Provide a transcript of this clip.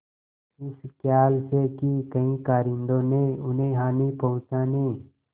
इस खयाल से कि कहीं कारिंदों ने उन्हें हानि पहुँचाने